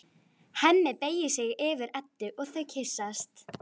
Hemmi beygir sig yfir Eddu og þau kyssast.